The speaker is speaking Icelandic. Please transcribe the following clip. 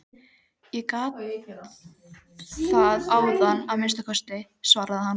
Ég gat það áðan að minnsta kosti, svaraði hann.